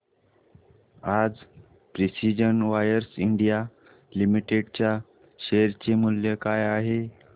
आज precision wires India limited च्या share चे मूल्य काय आहे